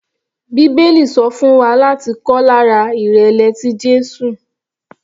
Bíbélì sọ fún wa láti kọ́ lára ìrẹ̀lẹ̀ tí Jésù.